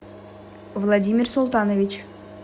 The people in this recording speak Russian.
владимир султанович